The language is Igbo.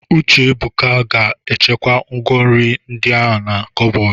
Uchebuka ga-echekwa ngwá nri ndi a na kọbọdụ.